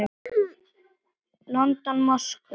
London, Moskvu.